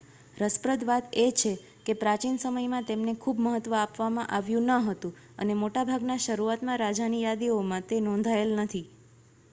રસપ્રદ વાત એ છે કે પ્રાચીન સમયમાં તેમને ખૂબ મહત્વ આપવામાં આવ્યું ન હતું અને મોટાભાગના શરૂઆતના રાજાની યાદીઓમાં તે નોંધાયેલ નથી